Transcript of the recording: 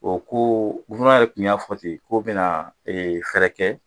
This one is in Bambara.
O ko ko n'ale kun y'a fɔten k'o be na ee fɛɛrɛ kɛ